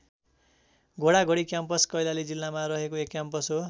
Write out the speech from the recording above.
घोडा घोडी क्याम्पस कैलाली जिल्लामा रहेको एक क्याम्पस हो।